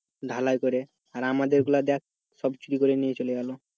ঢালাই করে আমাদের গুলা দেখ সব চুরি করে নিয়ে চলে গেলো।